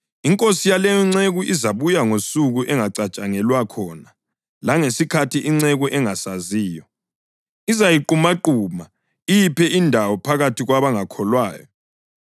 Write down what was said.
Inkosi yaleyonceku izabuya ngosuku engacatshangelwa khona langesikhathi inceku engasaziyo. Izayiqumaquma iyiphe indawo phakathi kwabangakholwayo.